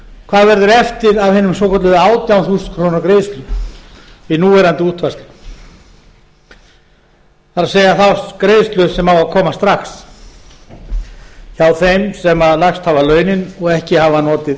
hvað verður eftir af hinum svokölluðu átján þúsund króna greiðslu við núverandi útfærslu það er þá greiðslu sem á að koma strax hjá þeim sem lægst hafa launin og ekki hafa notið